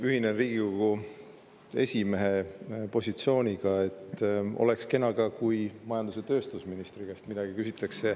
Ühinen Riigikogu esimehe positsiooniga, et oleks kena, kui ka majandus‑ ja tööstusministri käest midagi küsitaks.